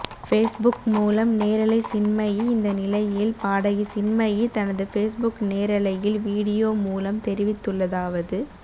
Facebook மூலம் நேரலை சின்மயி இந்த நிலையில் பாடகி சின்மயி தனது பேஸ்புக் நேரலையில் வீடியோ மூலம் தெரிவித்துள்ளதாவது